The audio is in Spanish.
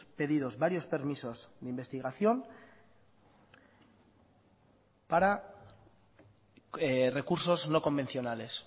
pedidos varios permisos de investigación para recursos no convencionales